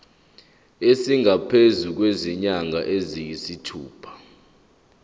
esingaphezu kwezinyanga eziyisithupha